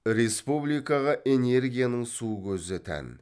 республикаға энергияның су көзі тән